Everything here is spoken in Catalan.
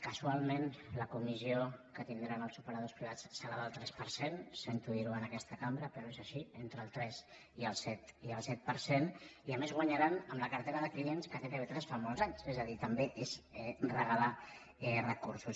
casualment la comissió que tindran els operadors privats serà del tres per cent sento dir ho en aquesta cambra però és així entre el tres i el set per cent i a més ho guanyaran amb la cartera de clients que té tv3 fa molts anys és a dir també és regalar recursos